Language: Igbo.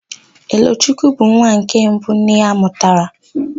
Elochukwu bụ nwa nke mbụ nne ya mụtara.